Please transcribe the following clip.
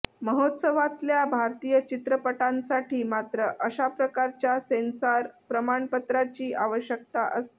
महोत्सवातल्या भारतीय चित्रपटांसाठी मात्र अशा प्रकारच्या सेन्सॉर प्रमाणपत्राची आवश्यकता असते